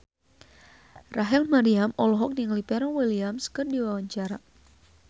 Rachel Maryam olohok ningali Pharrell Williams keur diwawancara